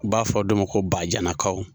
U b'a fɔ dɔ ma ko bajanakaw.